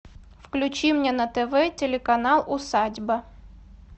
включи мне на тв телеканал усадьба